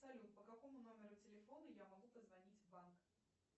салют по какому номеру телефона я могу позвонить в банк